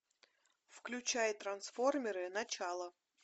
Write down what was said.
включай трансформеры начало